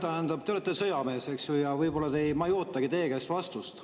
Tähendab, hea Leo, te olete sõjamees, eks ju, ja võib-olla ma ei ootagi teie käest vastust.